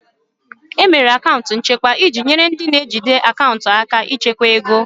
E mere akaụntụ nchekwa iji nyere ndị na-ejide akaụntụ aka ịchekwa ego